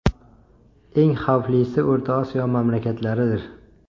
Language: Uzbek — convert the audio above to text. Eng xavflisi O‘rta Osiyo mamlakatlaridir.